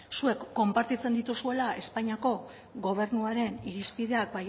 zuek konpartitzen dituzuela espainiako gobernuaren irizpideak